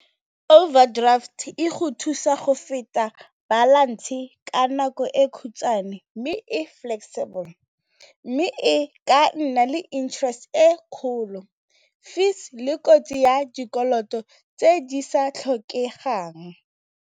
Overdraft e go thusa go feta balance ka nako e khutshwane mme e flexible mme e ka nna le interest e kgolo fees le kotsi ya dikoloto tse di sa tlhokegang.